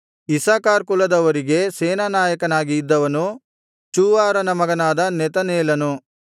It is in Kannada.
ಇಸ್ಸಾಕಾರ್ ಕುಲದವರಿಗೆ ಸೇನಾನಾಯಕನಾಗಿ ಇದ್ದವನು ಚೂವಾರನ ಮಗನಾದ ನೆತನೇಲನು